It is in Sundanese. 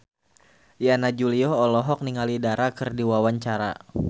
Yana Julio olohok ningali Dara keur diwawancara